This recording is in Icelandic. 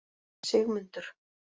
Sigmundur